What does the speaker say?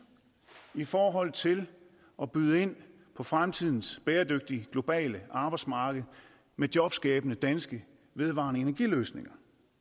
i forhold til at byde ind på fremtidens bæredygtige globale arbejdsmarked med jobskabende danske vedvarende energiløsninger